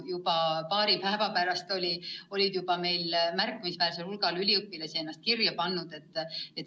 Juba paari päeva pärast oli märkimisväärsel hulgal üliõpilasi ennast kirja pannud.